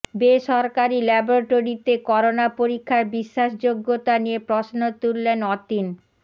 বেসরকারি ল্যাবটরীতে করোনা পরীক্ষার বিশ্বাসযোগ্যতা নিয়ে প্রশ্ন তুললেন অতীন